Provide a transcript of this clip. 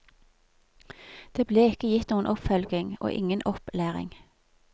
Det ble ikke gitt noen oppfølging, og ingen opplæring.